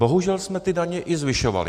Bohužel jsme ty daně i zvyšovali.